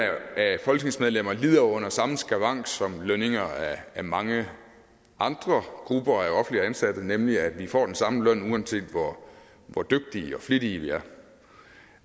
af folketingsmedlemmer lider under samme skavank som lønninger af mange andre grupper af offentligt ansatte nemlig at vi får den samme løn uanset hvor dygtige og flittige vi